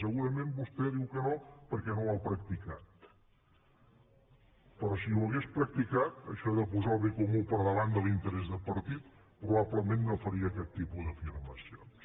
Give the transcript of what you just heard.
segurament vostè diu que no perquè no ho ha practicat però si ho hagués practicat això de posar el bé comú per davant de l’interès de partit probablement no faria aquest tipus d’afirmacions